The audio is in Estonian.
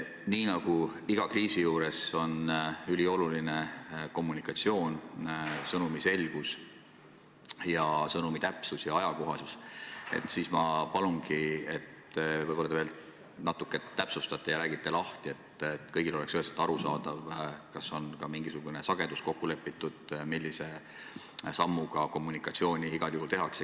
Kuna iga kriisi korral on ülioluline kommunikatsioon – sõnumi selgus, täpsus ja ajakohasus –, siis ma palun, et te võib-olla veel natuke täpsustaksite ja räägiksite lahti, et kõigile oleks üheselt arusaadav, kas on kokku lepitud mingisuguses kommunikatsiooni sageduses.